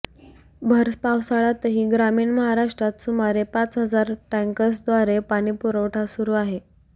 भर पावसाळ्यातही ग्रामीण महाराष्ट्रात सुमारे पाच हजार टँकर्सद्वारे पाणीपुरवठा सुरू आहे